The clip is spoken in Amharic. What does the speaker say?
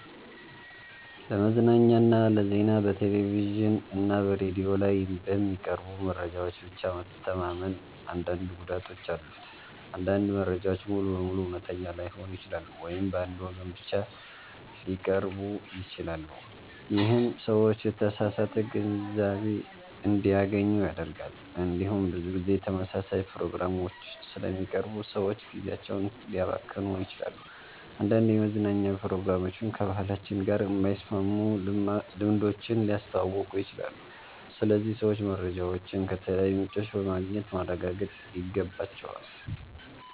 ለመዝናኛና ለዜና በቴሌቪዥን እና በሬዲዮ ላይ በሚቀርቡ መረጃዎች ብቻ መተማመን አንዳንድ ጉዳቶች አሉት። አንዳንድ መረጃዎች ሙሉ በሙሉ እውነተኛ ላይሆኑ ይችላሉ ወይም በአንድ ወገን ብቻ ሊቀርቡ ይችላሉ። ይህም ሰዎች የተሳሳተ ግንዛቤ እንዲያገኙ ያደርጋል። እንዲሁም ብዙ ጊዜ ተመሳሳይ ፕሮግራሞች ስለሚቀርቡ ሰዎች ጊዜያቸውን ሊያባክኑ ይችላሉ። አንዳንድ የመዝናኛ ፕሮግራሞችም ከባህላችን ጋር የማይስማሙ ልምዶችን ሊያስተዋውቁ ይችላሉ። ስለዚህ ሰዎች መረጃዎችን ከተለያዩ ምንጮች በማግኘት ማረጋገጥ ይገባቸዋል።